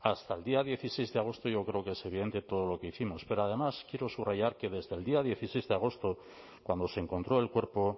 hasta el día dieciséis de agosto yo creo que es evidente todo lo que hicimos pero además quiero subrayar que desde el día dieciséis de agosto cuando se encontró el cuerpo